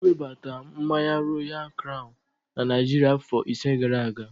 Ewebata mmanya Royal kraun na Naịjirịa afọ ise gara aga.